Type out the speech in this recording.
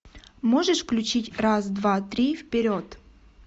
можешь включить раз два три вперед